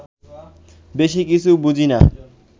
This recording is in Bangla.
বেশি কিছু বুঝি না